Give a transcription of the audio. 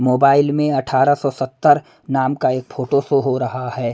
Mobile में अठारह सौ सत्तर नाम का एक फोटो शो हो रहा है।